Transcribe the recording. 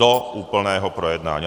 Do úplného projednání.